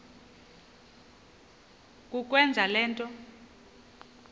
kukwenza le nto